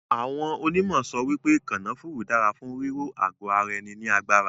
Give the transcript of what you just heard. Awọ́n onímọ̀ sọ wípé kanafúrú dára fún ríró àgọ ara ní agbára.